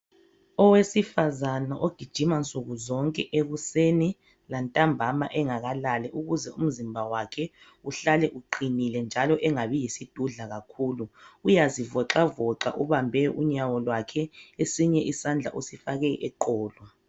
Owesifazana ogijima nsukuzonke ekuseni lantambama engakalali ukuze umzimba wakhe uhlale uqinile njalo engabi yisidudla kakhulu, uyazivoxavoxa ubambe unyawo lwakhe esinye isandla usifake eqolo.